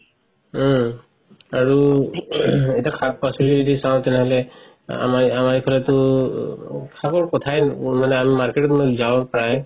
উম আৰু এতিয়া শাক পাচলি যদি চাও তেনেহলে আ আমাৰ ইফালেতো মানে market ত মানে যাও প্ৰাই